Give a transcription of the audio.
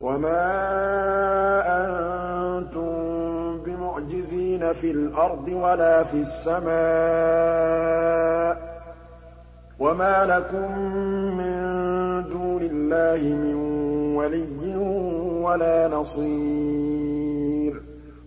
وَمَا أَنتُم بِمُعْجِزِينَ فِي الْأَرْضِ وَلَا فِي السَّمَاءِ ۖ وَمَا لَكُم مِّن دُونِ اللَّهِ مِن وَلِيٍّ وَلَا نَصِيرٍ